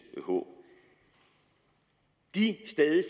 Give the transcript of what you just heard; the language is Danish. håb de stadig